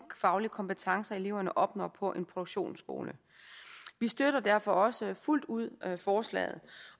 faglige kompetencer eleverne opnår på en produktionsskole vi støtter derfor også fuldt ud forslaget